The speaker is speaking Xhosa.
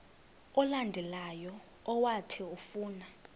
olandelayo owathi ufuna